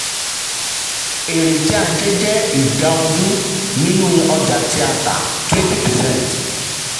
èrè tí a rí jẹ́ ìdá ogún nínú nínú ọjà tí a tà (20 percent).